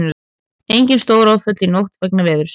Engin stóráföll í nótt vegna veðurs